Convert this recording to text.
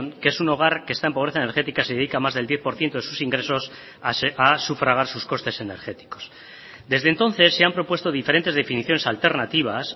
que es un hogar que está en pobreza energética se dedica más del diez por ciento de sus ingresos a sufragar sus costes energéticos desde entonces se han propuesto diferentes definiciones alternativas